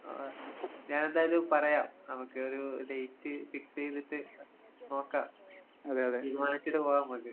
ആഹ് ഞാനെന്തായാലും പറയാം. നമക്കൊരു ഡേറ്റ് ഫിക്സെയ്‌തിട്ട് അഹ് നോക്കാം. തീരുമാനിച്ചിട്ട് പോകാമ്മക്ക്.